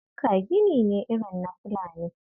Bukka gini ne irin na Fulani